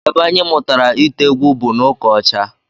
Ebe anyị mụtara ite egwu bụ n'ụka ọcha